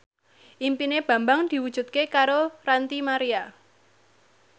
impine Bambang diwujudke karo Ranty Maria